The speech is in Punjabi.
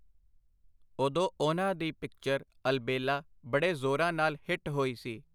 ਉਦੋਂ ਉਹਨਾਂ ਦੀ ਪਿਕਚਰ ਅਲਬੇਲਾ ਬੜੇ ਜ਼ੋਰਾਂ ਨਾਲ ਹਿੱਟ ਹੋਈ ਸੀ.